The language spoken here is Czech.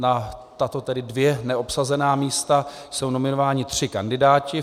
Na tato tedy dvě neobsazená místa jsou nominováni tři kandidáti.